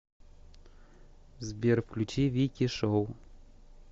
сбер включи вики шоу